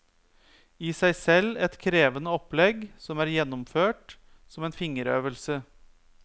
I seg selv et krevende opplegg som er gjennomført som en fingerøvelse.